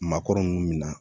Maakɔrɔ munnu mina